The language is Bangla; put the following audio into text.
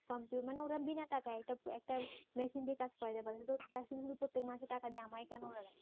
মানে ওরা বিনা টাকায় একটা মেশিন দিয়ে কাজ করাতে পারে শুধু শুধু টাকা দিয়ে আমায় কেন রাখবে?